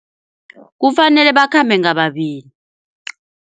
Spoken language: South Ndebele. Kufanele bakhambe ngababili.